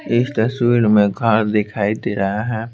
इस तस्वीर में घर दिखाई दे रहा है।